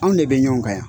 Anw de bɛ ɲɔgɔn kan yan